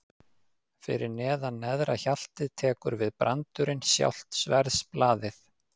Fyrir neðan neðra hjaltið tekur við brandurinn, sjálft sverðsblaðið.